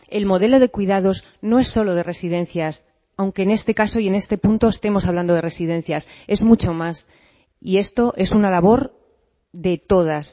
el modelo de cuidados no es solo de residencias aunque en este caso y en este punto estemos hablando de residencias es mucho más y esto es una labor de todas